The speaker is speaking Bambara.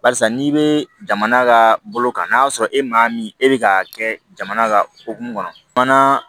Barisa n'i bɛ jamana ka bolo kan n'a sɔrɔ e maa min e bɛ ka kɛ jamana ka okumu kɔnɔ